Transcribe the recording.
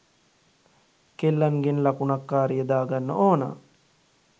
කෙල්ලන්ගෙන් ලකුනක් කාරිය දාගන්න ඕනා